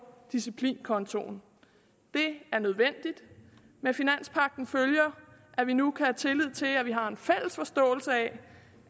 disciplinkontoen det er nødvendigt med finanspagten følger at vi nu kan have tillid til at vi har en fælles forståelse af